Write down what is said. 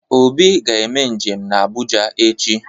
Obi ga-eme njem ga Abụja echi.